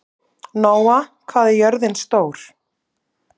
Nóa, hvað er jörðin stór?